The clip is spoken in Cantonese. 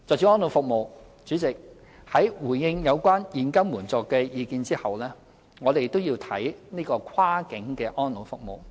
主席，在回應有關現金援助的意見後，我們都要看看跨境的安老服務。